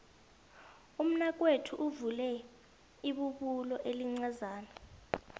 umnakwethu uvule ibubulo elincazana